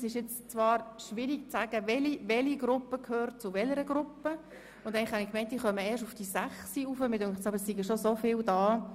Eigentlich habe ich gedacht, dass diese erst um 18.00 Uhr eintrifft, aber mir scheint, dass nun doch schon zahlreiche neue Leute eingetroffen sind.